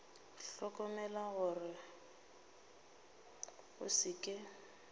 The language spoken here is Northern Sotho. hlokomela gore go se ke